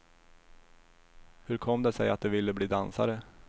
Hur kom det sig att de ville bli dansare?